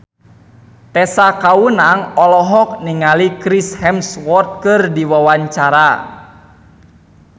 Tessa Kaunang olohok ningali Chris Hemsworth keur diwawancara